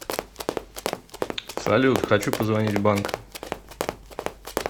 салют хочу позвонить в банк